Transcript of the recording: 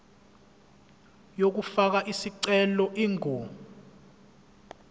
yokufaka isicelo ingu